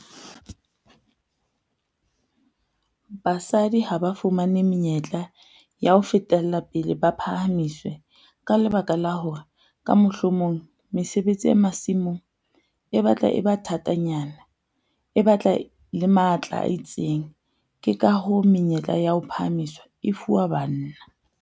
Basadi ha ba fumane menyetla ya ho fetela pele ba phahamiswe, ka lebaka la hore ka mohlomong mesebetsi ya masimong e batla e ba thatanyana, e batla le matla a itseng. Ke ka hoo menyetla ya ho phahamiswa e fuwa banna.